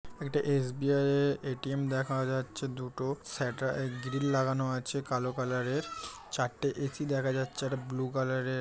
এটা এস.বী.আই. -এর এ.টি.এম. দেখা যাচ্ছে দুটো শাট-আ গ্রিল লাগানো আছে কালো কালার -এর চারটে এ.সি. দেখা যাচ্ছে। একটা ব্লু কালার -এর।